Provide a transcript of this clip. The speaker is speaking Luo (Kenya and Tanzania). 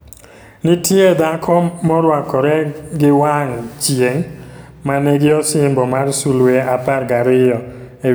Nitiye Dhako morwakore gi wang' chieng' manigi "osimbo mar sulwe apar gariyo" e wiye.